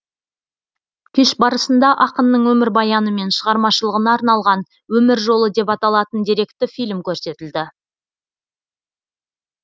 кеш барысында ақынның өмірбаяны мен шығармашылығына арналған өмір жолы деп аталатын деректі фильм көрсетілді